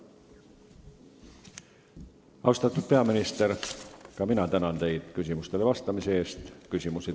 Austatud peaminister, ma tänan teid küsimustele vastamise eest!